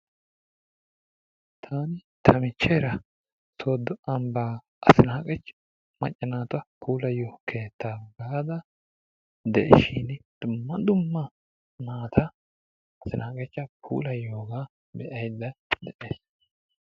Taanita michcheera soodo ambbaa asinaaqe maacca naata puulayiyoo sohuwaa baada de'iishin dumma dummma naata asinaaqachcha puulaydda de'iyoogaa be'ays.